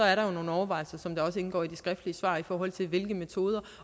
er jo nogle overvejelser som det også indgår i de skriftligt svar i forhold til hvilke metoder